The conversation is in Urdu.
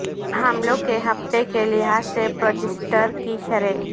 حملوں کے ہفتے کے لحاظ سے پروجسٹرڈ کی شرح